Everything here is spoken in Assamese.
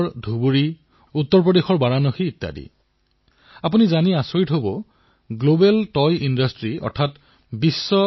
উন্নতমানৰ এতিকোপ্পকা পুতলা নিৰ্মাণ কৰি চি বি ৰাজুৱে থলুৱা খেলাসামগ্ৰীৰ হেৰাই যোৱা গৰিমা ঘূৰাই আনিছে